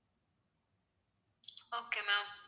okay ma'am